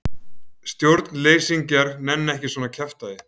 Stjórnleysingjar nenna ekki svona kjaftæði.